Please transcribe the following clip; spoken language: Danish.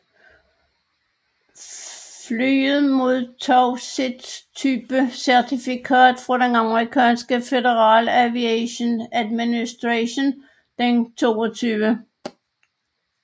Flyet modtog sit typecertifikat fra det amerikanske Federal Aviation Administration den 22